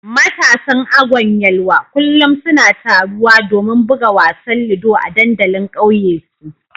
Matasan Agwan Yelwa kullum suna taruwa domin buga wasan ludo a dandalin kauye su